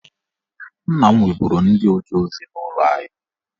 Nna m nweburu ndị oje ozi n'ụlọ anyị